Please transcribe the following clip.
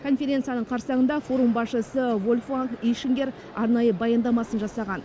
конференцияның қарсаңында форум басшысы вольфганг ишингер арнайы баяндамасын жасаған